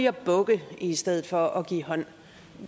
at bukke i stedet for at give hånd